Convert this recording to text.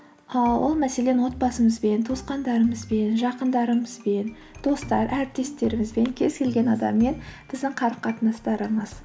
ыыы ол мәселен отбасымызбен туысқандарымызбен жақындарымызбен достар әріптестерімізбен кез келген адаммен біздің қарым қатынастарымыз